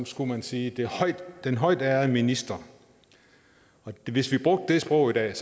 skulle man sige den højtærede minister hvis vi brugte det sprog i dag